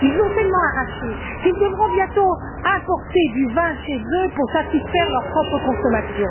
Ils ont tellement arraché, qu'ils devront bientôt importer du vin chez eux pour satisfaire leur propre consommation.